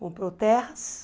Comprou terras...